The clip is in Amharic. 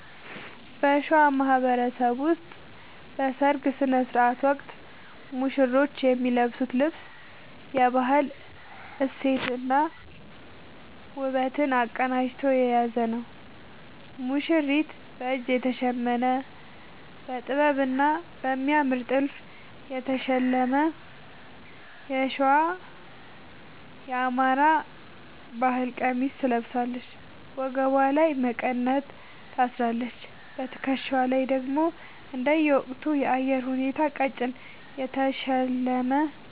በሸዋ ማህበረሰብ ውስጥ በሠርግ ሥነ ሥርዓት ወቅት ሙሽሮች የሚለብሱት ልብስ የባህል እሴትንና ውበትን አቀናጅቶ የያዘ ነው፦ ሙሽሪት፦ በእጅ የተሸመነ: በጥበብና በሚያምር ጥልፍ የተሸለመ የሸዋ (የአማራ) ባህል ቀሚስ ትለብሳለች። ወገቧ ላይ መቀነት ታስራለች: በትከሻዋ ላይ ደግሞ እንደየወቅቱ የአየር ሁኔታ ቀጭን የተሸለመ